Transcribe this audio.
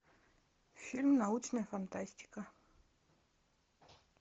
фильм научная фантастика